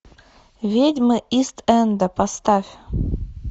ведьмы ист энда поставь